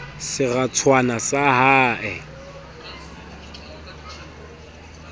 seratswana sa d ha e